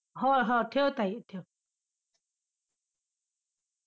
हा हा ठेव ताई ठेव.